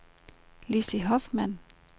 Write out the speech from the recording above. Lizzie Hoffmann